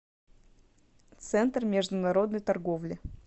центр международной торговли